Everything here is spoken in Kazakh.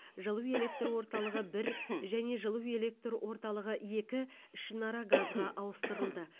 жылу электр орталығы бір және жылу электр орталығы екі ішінара газға ауыстырылды